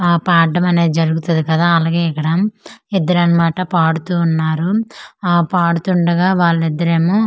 ఆ పాడ్డమనేది జరుగుతది కదా అలగె ఇక్కడ ఇద్దరన్నమాట పాడుతూ వున్నారు ఆ పాడుతుండగ వాళ్లిద్దరేమో ఆమ్--